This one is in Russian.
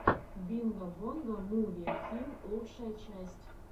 бинго бонго муви фильм лучшая часть